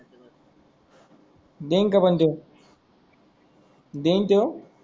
then का पण तोय देन तोय